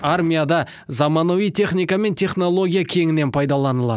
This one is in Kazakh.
армияда заманауи техника мен технология кеңінен пайдаланылады